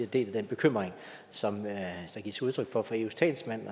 deler den bekymring som der gives udtryk for fra eus talsmands